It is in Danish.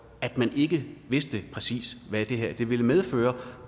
at man ikke vidste præcis hvad det her ville medføre